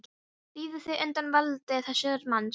Rífðu þig undan valdi þessa manns.